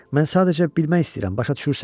Mən sadəcə bilmək istəyirəm, başa düşürsən?